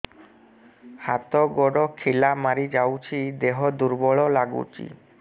ହାତ ଗୋଡ ଖିଲା ମାରିଯାଉଛି ଦେହ ଦୁର୍ବଳ ଲାଗୁଚି